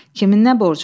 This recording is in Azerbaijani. Kimin nə borcuna.